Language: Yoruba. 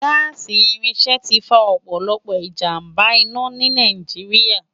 Gaasi irinṣẹ ti fá òpòlòpò ijámbá-inà ni Náijiriá